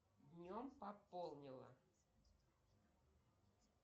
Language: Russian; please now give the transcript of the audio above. днем пополнила